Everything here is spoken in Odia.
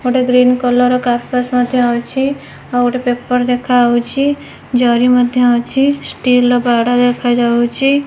ଗୋଟେ ଗ୍ରିନ୍ କଲର୍ ର କାରପାସ୍ ମଧ୍ୟ ଅଛି ଆଉ ଗୋଟେ ପେପର୍ ଦେଖାଯାଉଚି ଜରି ମଧ୍ଯ ଅଛି ଷ୍ଟିଲ୍ ର ବାଡା ଦେଖାଯାଉଚି।